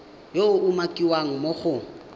yo a umakiwang mo go